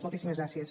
moltíssimes gràcies